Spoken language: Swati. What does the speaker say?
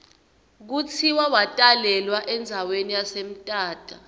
kutsi watalelwa endzawani yase mthatha